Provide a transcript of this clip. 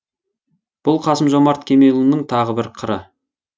бұл қасым жомарт кемелұлының тағы бір қыры